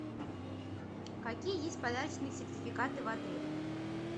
какие есть подарочные сертификаты в отеле